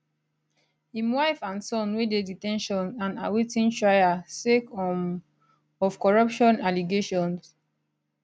im wife and son wey dey de ten tion and awaiting trial sake um of corruption allegations